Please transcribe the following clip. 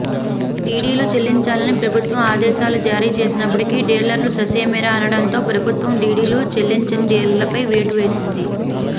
డిడిలు చెల్లించాలని ప్రభుత్వం ఆదేశాలు జారీ చేసినప్పటికీ డీలర్లు ససేమిరా అనడంతో ప్రభుత్వం డిడిలు చెల్లించని డీలర్లపై వేటు వేసంది